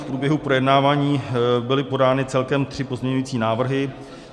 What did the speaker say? V průběhu projednávání byly podány celkem tři pozměňující návrhy.